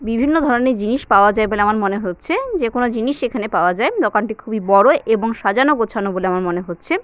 বিভিন্ন ধরনের জিনিস পাওয়া যায় বলে আমরা মনে হচ্ছেযেকোনো জিনিস এখানে পাওয়া যায় দোকানটি খুবই বড় এবং সাজানো গোছানো বলে আমরা মনে হচ্ছে।